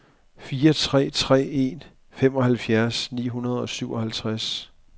fire tre tre en femoghalvfjerds ni hundrede og syvoghalvtreds